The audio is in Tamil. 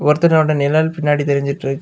ஒருத்தனோட நிழல் பின்னாடி தெரிஞ்சிக்கிட்டு இருக்.